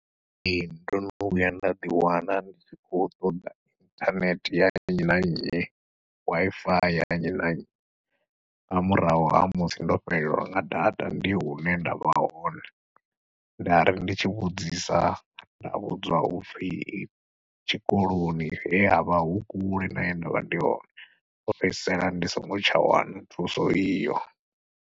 Ee ndo no vhuya nda ḓiwana ndi tshi khou ṱoḓa inthanethe ya nnyi na nnyi, Wi-Fi ya nnyi na nnyi nga murahu ha musi ndo fhelelwa nga data ndi hune nda vha hone. Nda ri ndi tshi vhudzisa nda vhudzwa upfhi I tshikoloni he havha hu kule na he ndavha ndi hone ndo fhedzisela ndi songo tsha wana thuso iyo.